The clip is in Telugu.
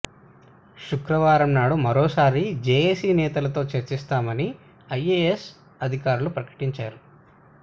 శుక్రవారం నాడు మరోసారి జేఏసీ నేతలతో చర్చిస్తామని ఐఎఎస్ అధికారులు ప్రకటించారు